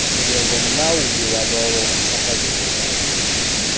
njengomlawuli walowo uchaphazelekayo